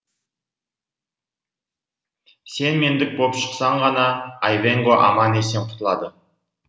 сен мендік боп шықсаң ғана айвенго аман есен құтылады